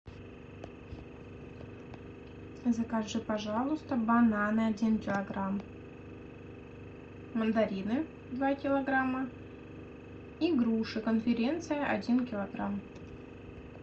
закажи пожалуйста бананы один килограмм мандарины два килограмма и груши конференция один килограмм